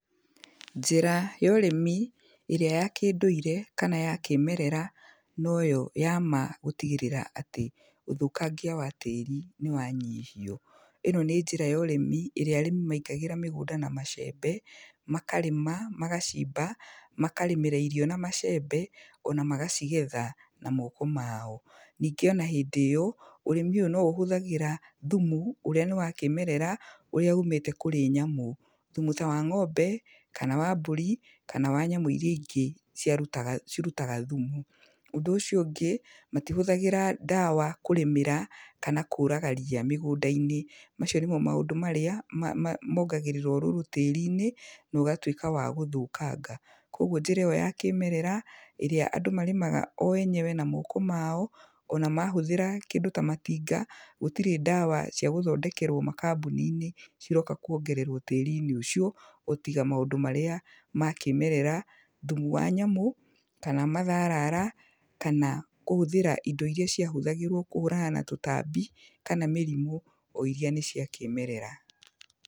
Njĩra ya ũrĩmi ĩrĩa ya kĩndũire kana ya kĩmerera noyo ya ma gũtigĩrĩra atĩ ũthũkangia wa tĩri nĩ wanyihio. Ĩno nĩ njĩra yorĩmi ĩrĩa arĩmi maingagĩra mĩgũnda na macembe, makarĩma, magacimba, makarĩmĩra irio na macembe, ona magacigetha na moko mao. Ningĩ ona hĩndĩ ĩyo, ũrĩmi ũyũ no ũhũthagĩra thumu ũrĩa nĩ wa kĩmerera ũrĩa ũmĩte kũrĩ nyamũ. Thumu ta wa ng'ombe, kana wa mbũri, kana wa nyamũ iria ingĩ ciarutaga, cirutaga thumu. Ũndũ ũcio ũngĩ matihũthagĩra ndawa kũrĩmĩra kana kũraga ria mĩgũnda-inĩ. Macio nĩmo maũndũ marĩa mongagĩrĩra ũrũrũ tĩĩri-inĩ nogatwĩka wa gũthũkanga. Kogwo njĩra ĩyo ya kĩmerera, ĩrĩa andũ marĩmaga o enyewe na moko mao, ona mahũthĩra kĩndũ ta matinga gũtirĩ ndawa cia gũthondekerwo makambuni-inĩ ciroka kwongererwo tĩri-inĩ ũcio, o tiga maũndũ marĩa ma kĩmerera, thumu wa nyamũ, kana matharara, kana kũhũthĩra indo iria ciahũthagĩrwo kũhũrana na tũtambi kana mĩrimũ, o iria nĩ cia kĩmerera.